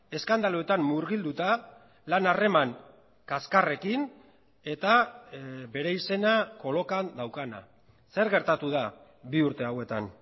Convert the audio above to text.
eskandaluetan murgilduta lan harreman kaskarrekin eta bere izena kolokan daukana zer gertatu da bi urte hauetan